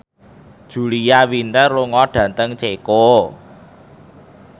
Julia Winter lunga dhateng Ceko